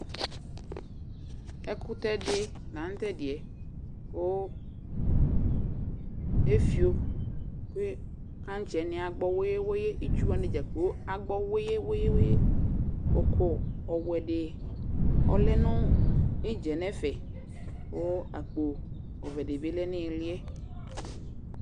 ɛkotɛ di la no tɛdiɛ ko efio ko kantse wani agbɔ weye weye itsu wani dza kplo agbɔ weye weye òkò ɔwɛ di lɛ no idza yɛ no ɛfɛ ko akpo ɔwɛ di bi lɛ no iliɛ